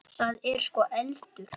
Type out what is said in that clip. Það er sko eldur.